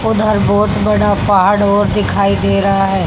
उधर बहुत बड़ा पहाड़ ओर दिखाई दे रहा है।